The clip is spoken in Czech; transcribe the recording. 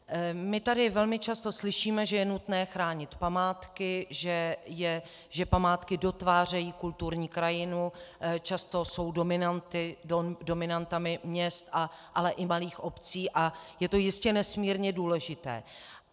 My tady velmi často slyšíme, že je nutné chránit památky, že památky dotvářejí kulturní krajinu, často jsou dominantami města, ale i malých obcí, a je to jistě nesmírně důležité.